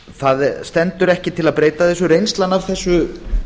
það stendur ekki til að breyta þessu reynslan af þessu